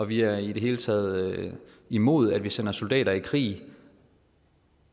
vi er i det hele taget imod at vi sender soldater i krig